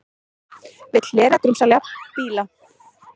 Vill hlera grunsamlega bíla